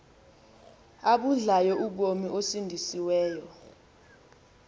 abudlayo ubomi osindisiweyo